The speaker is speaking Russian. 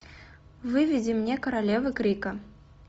выведи мне королевы крика